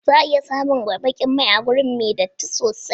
Za a iya samun baƙin mai a wuri mai datti sosai.